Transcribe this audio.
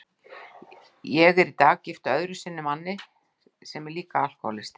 Ég er í dag gift öðru sinni manni sem líka er alkohólisti.